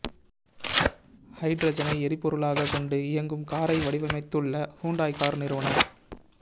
ஹைட்ரஜனை எரிபொருளாக கொண்டு இயங்கும் காரை வடிவமைத்துள்ள ஹுண்டாய் கார் நிறுவனம்